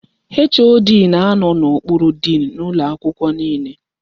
HOD na anọ n'okpuru diin ụlọ akwụkwọ niile.